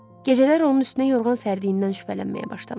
Gecələr onun üstünə yorğan sərdiindən şübhələnməyə başlamışdım.